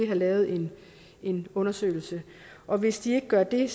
lavet en en undersøgelse og hvis de ikke gør det